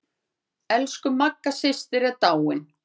Elsku Magga systir er dáin.